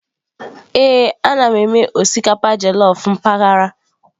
Ee, ana m eme osikapa jellof mpaghara.